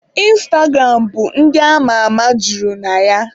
Ịnstagram bụ ndị ama ama juru na ya.